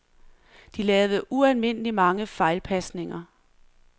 De lavede ualmindelig mange fejlpasninger.